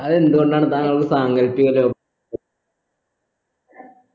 അതെന്ത് കൊണ്ടാണ് താങ്കൾക്ക് സാങ്കല്പികത